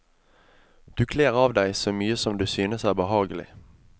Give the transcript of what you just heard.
Du kler av deg så mye som du synes er behagelig.